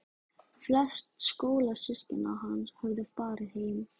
Flest skólasystkina hans höfðu farið heim.